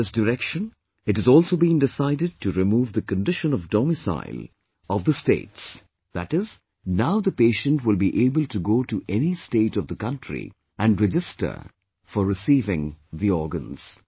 In this direction, it has also been decided to remove the condition of domicile of the states, that is, now the patient will be able to go to any state of the country and register for receiving the organs